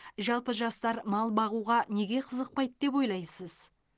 жалпы жастар мал бағуға неге қызықпайды деп ойлайсыз